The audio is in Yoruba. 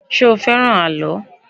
Ṣé o fẹ́ràn àlọ́?